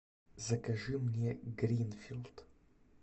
закажи мне гринфилд